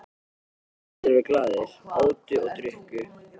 Allir voru glaðir, átu og drukku.